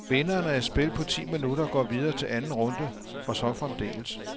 Vinderen af et spil på ti minutter går videre til anden runde og så fremdeles.